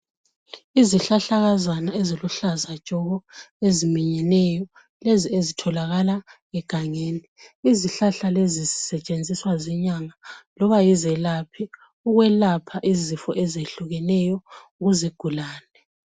Izihlahlakazana eziluhlaza tshoko eziminyeneyo lezi ezitholakala egangeni. Izihlahla lezi zisetshenziswa zinyanga loba yizelaphi ukwelapha izifo ezitshiyeneyo kuzigulane.